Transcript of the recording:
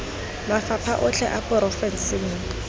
mafapha otlhe a porofense mo